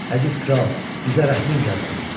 Əziz kral, bizə rəhmin gəlsin.